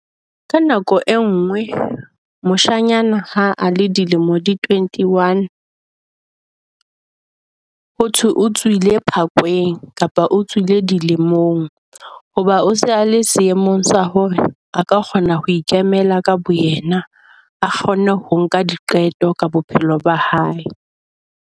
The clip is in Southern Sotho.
Ka nako e nngwe moshanyana ha a le dilemo di twenty one . Ho thwe o tswile phakweng kapa o tswile dilemong. Ho ba o se a le seemong sa hore a ka kgona ho ikemela ka boyena, a kgone ho nka diqeto ka bophelo ba hae.